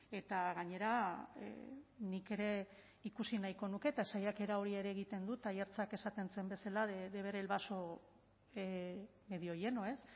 eta gainera nik ere ikusi nahiko nuke eta saiakera hori ere egiten dut aiartzak esaten zuen bezala de ver el vaso medio lleno ez